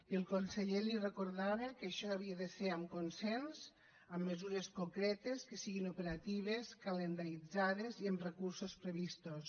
i el conseller li recordava que això havia de ser amb consens amb mesures concretes que siguin operatives calendaritzades i amb recursos previstos